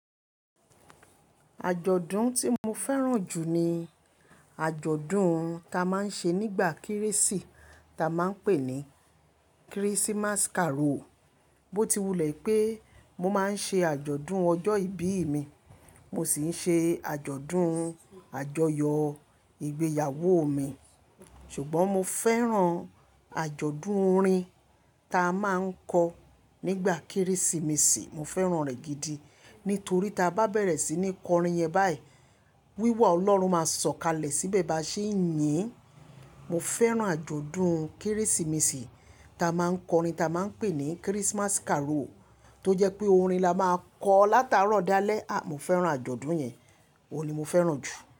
Àjọ̀dún tí mo fẹ́ràn jù ni àjọ̀dún ta máa ń ṣe nígbà Kérésì ta máa ń pè ní Christmas carol. Bó ti wulẹ̀ pé mo máa ń ṣe àjọ̀dún ọjọ́ ìbí mi, mo sì ń ṣe àjọ̀dún àjọyọ̀ ìgbéyàwó mi, ṣùgbọ́n mo fẹ́ràn àjọ̀dún orin ta máa ń kọ nígbà Kérésìmesì, mo fẹ́ràn rẹ̀ gidi. Nítorí ta bá bẹ̀rẹ̀ sí ní kọ orin yẹn báyìí, wíwá Ọlọ́run máa sọ̀kalẹ̀ síbẹ̀ bá ṣe é yín. Mo fẹ́ràn àjọ̀dún Kérésìmesì ta máa ń kọ orin ta máa ń pè ní Christmas carol tó jẹ́ pé orin la máa kọ látàárọ̀ dalẹ́. À, mo fẹ́ràn àjọ̀dún yẹn, òun ni mo fẹ́ràn jù.